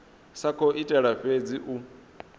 sa khou itela fhedzi u